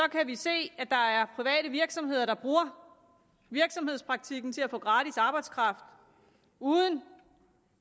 kan vi se at der er private virksomheder der bruger virksomhedspraktikken til at få gratis arbejdskraft uden